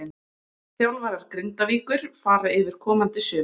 Þjálfarar Grindavíkur fara yfir komandi sumar.